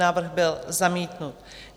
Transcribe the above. Návrh byl zamítnut.